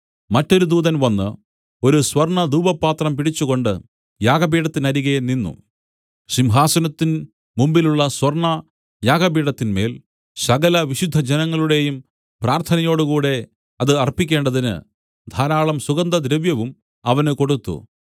മറ്റൊരു ദൂതൻ വന്നു ഒരു സ്വർണ്ണധൂപപാത്രം പിടിച്ചുകൊണ്ടു യാഗപീഠത്തിനരികെ നിന്നു സിംഹാസനത്തിൻ മുമ്പിലുള്ള സ്വർണ്ണയാഗപീഠത്തിന്മേൽ സകലവിശുദ്ധജനങ്ങളുടെയും പ്രാർത്ഥനയോടുകൂടെ അത് അർപ്പിക്കേണ്ടതിന് ധാരാളം സുഗന്ധദ്രവ്യവും അവന് കൊടുത്തു